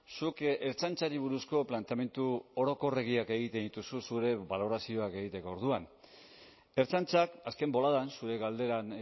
zuk ertzaintzari buruzko planteamendu orokorregiak egiten dituzu zure balorazioak egiteko orduan ertzaintzak azken boladan zure galderan